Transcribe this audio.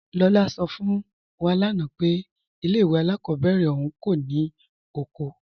Lọla sọ fún wá lánà pé ilẹ̀ ìwé alákọbèrè ọ̀un kò ní oko.